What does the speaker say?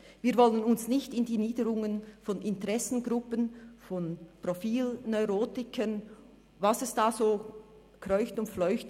Wir wollen uns nicht in die Niederungen von Interessengruppen und Profilneurotikern begeben, und was alles so in den Niederungen kreucht und fleucht.